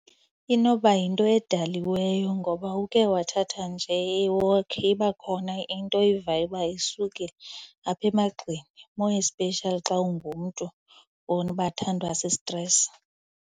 Inoba yinto edaliweyo ngoba uke wathatha nje i-walk iba khona into oyivayo uba isukile apha emagxeni, more especially xa ungumntu bathandwa sistresi.